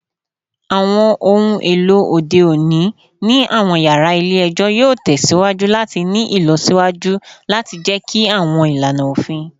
Awọn ohun elo ode oni ni awọn yara ile-ẹjọ yoo tẹsiwaju lati ni ilọsiwaju lati jẹki awọn ilana ofin